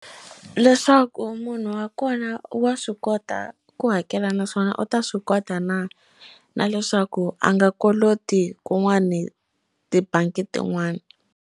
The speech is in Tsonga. Leswaku munhu wa kona wa swi kota ku hakela naswona u ta swi kota na na leswaku a nga koloti kun'wani tibangi tin'wani.